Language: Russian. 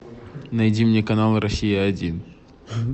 найди мне канал россия один